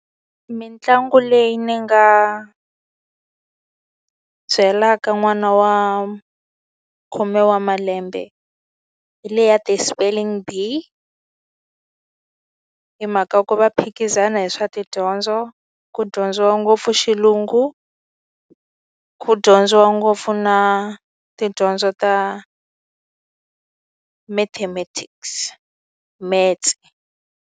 Mitlangu leyi ni nga byelaka n'wana wa khume wa malembe, hi le ya ti-spelling B_E_E. Hi mhaka ku va phikizana hi swa tidyondzo, ku dyondziwa ngopfu xilungu, ku dyondziwa ngopfu na tidyondzo ta mathematics, metse.